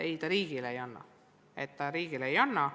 Ei, ta riigile midagi teada ei anna.